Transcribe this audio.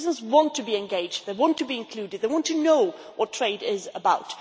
Citizens want to be engaged, they want to be included, they want to know what trade is about.